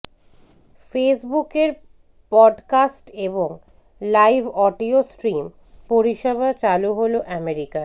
ফেসবুকের পডকাস্ট এবং live audio stream পরিষেবা চালু হল আমেরিকায়